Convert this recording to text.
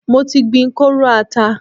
Mo ti gbin kóóró ata.